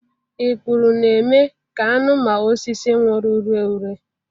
Ikpuru na-eme ka anụ ma osisi nwụrụ ree ure.